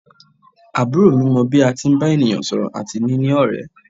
Àbúrò mi mọ bí a tí ń bá ènìyàn sọ̀rọ̀ àti níní ọ̀rẹ́.